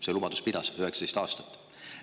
See lubadus pidas 19 aastat.